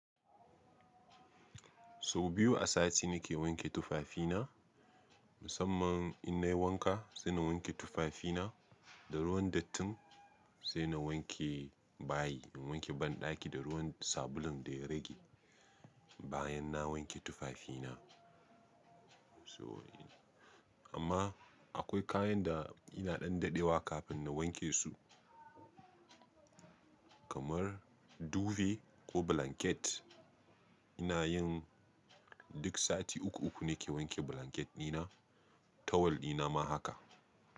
So biyu a sati nake wanke tufafina musamman in nayi wanka sai na wanke tufafina da ruwan dattin sai na wanke bayi, in wanke banɗaki da ruwan sabulun da ya rage bayan na wanke tufafina. So amma akwai kayan da ina ɗan daɗewa kafin na wanke su kamar duve ko blanket. Ina yin duk sati uku uku nake wanke blanket dina tawali ɗina ma haka.